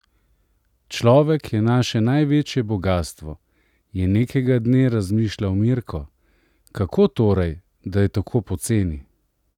Človek je naše največje bogastvo, je nekega dne razmišljal Mirko, kako torej, da je tako poceni?